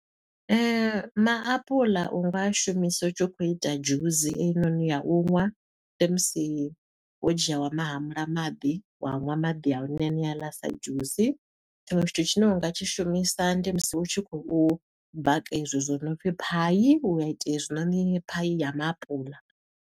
Maapuḽa u nga shumisa u tshi khou ita dzhusi eyi noni ya u ṅwa. Ndi musi wo dzhia wa ma hamula maḓi, wa ṅwa maḓi a hone haneaḽa sa dzhusi. Tshiṅwe tshithu tshine u nga tshi shumisa, ndi musi u tshi khou baka e zwo zwi no pfi pie. Wa ita hezwinoni pie ya maapuḽa.